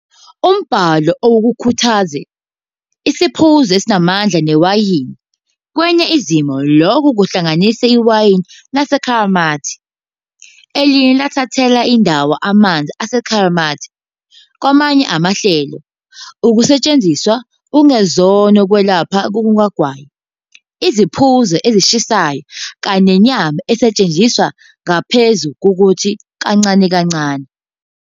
Umbhalo awukukhuthazi "isiphuzo esinamandla" newayini, kwezinye izimo lokhu kuhlanganisa iwayini lesakramente, eliye lathathelwa indawo amanzi esakramente kwamanye amahlelo, ukusetshenziswa okungezona kokwelapha kukagwayi, "iziphuzo ezishisayo", kanye nenyama esetshenziswa ngaphezu kokuthi "kancane kancane.